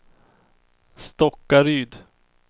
Stockaryd